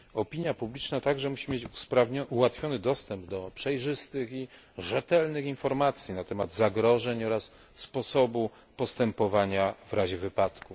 Opina publiczna także musi mieć ułatwiony dostęp do przejrzystych i rzetelnych informacji na temat zagrożeń oraz sposobu postępowania w razie wypadku.